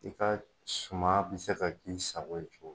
I ka suma bɛ se ka k'i sago ye cogo min